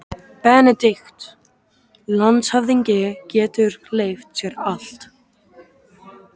BENEDIKT: Landshöfðingi getur leyft sér allt.